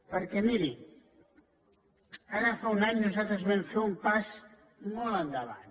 perquè miri ara fa un any nosaltres vam fer un pas molt endavant